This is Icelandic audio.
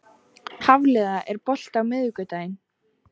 Hafliða, er bolti á miðvikudaginn?